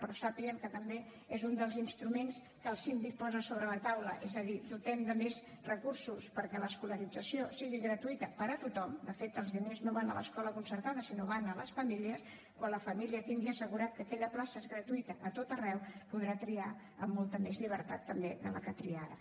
però sàpiguen que també és un dels instruments que el síndic posa sobre la taula és a dir dotem de més recursos perquè l’escolarització sigui gratuïta per a tothom de fet els diners no van a l’escola concertada sinó que van a les famílies quan la família tingui assegurat que aquella plaça és gratuïta a tot arreu podrà triar amb molta més llibertat també que amb la que tria ara